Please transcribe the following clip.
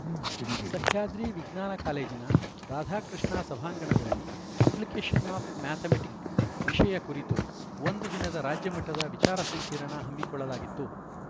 ಸಹ್ಯಾದ್ರಿ ವಿಜ್ಞಾನ ಕಾಲೇಜಿನ ರಾಧಾಕೃಷ್ಣ ಸಭಾಂಗಣದಲ್ಲಿ ಅಪ್ಲಿಕೇಶನ್‌ ಆಫ್‌ ಮ್ಯಾಥಮೆಟಿಕ್‌ ವಿಷಯ ಕುರಿತು ಒಂದು ದಿನದ ರಾಜ್ಯಮಟ್ಟದ ವಿಚಾರ ಸಂಕಿರಣ ಹಮ್ಮಿಕೊಳ್ಳಲಾಗಿತ್ತು